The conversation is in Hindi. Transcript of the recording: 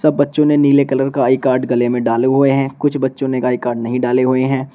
सब बच्चों ने नीले कलर का आई कार्ड गले में डाले हुए हैं कुछ बच्चों ने आई कार्ड नहीं डाले हुए हैं।